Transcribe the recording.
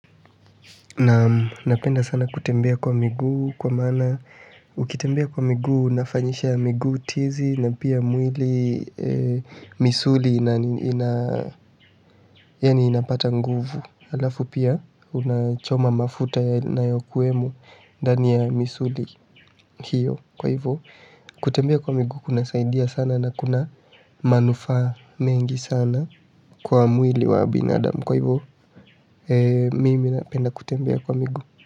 Naam napenda sana kutembea kwa miguu kwa maana ukitembea kwa miguu unafanyisha miguu tizi na pia mwili misuli inapata nguvu halafu pia unachoma mafuta yanayokuwemo ndani ya misuli hiyo kwa hivyo kutembea kwa miguu kunasaidia sana na kuna manufaa mengi sana kwa mwili wa binadamu kwa hivyo mimi napenda kutembea kwa miguu.